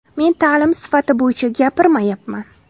Men ta’lim sifati bo‘yicha gapirmayapman.